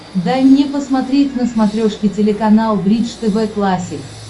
дай мне посмотреть на смотрешке телеканал бридж тв классик